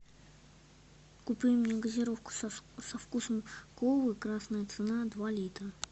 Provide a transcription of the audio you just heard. купи мне газировку со вкусом колы красная цена два литра